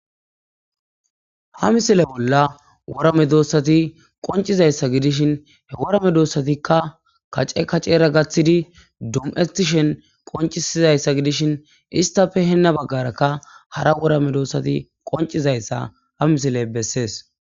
Ha misile bola wora medoosathi qonccizayssa gidishin he wora medoosathikka kace kaceera gaththidi dum7ethhthishen qonccizayssa gidishin issappe hina baggaarakka hara wora medoosathi qonccizaysa ha misile bessees.